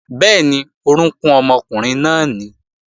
Bẹ́ẹ̀ni, orókún ọmọkùnrin náà nìí